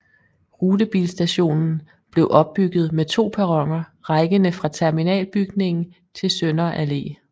Rutebilstationen blev opbygget med to perroner rækkende fra terminalbygningen til Sønder Allé